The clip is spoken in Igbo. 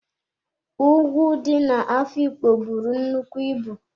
Ùgwù dị na-Afikpo buru nnukwu ịbụ.